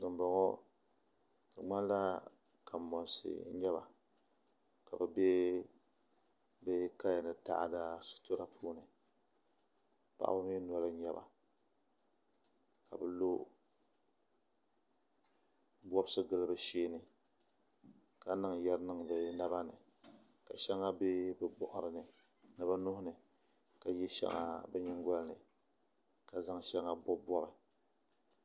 Bin bɔŋɔ di ŋmanila kanbonsi n nyɛba ka bi bɛ bi kaya ni taada sitira puuni paɣaba mii noli n nyɛba ka bi lo bobsi gili bi sheeni ka biŋ yɛri niŋ bi naba ni ka shɛŋa bɛ bi boɣari ni ni bi nuhuni ka shɛŋa ka yɛ shɛŋa bi nyingoli ni ka zaŋ shɛŋa bobi bobi